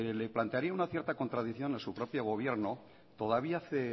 le plantearía una cierta contradicción a su propio gobierno todavía hace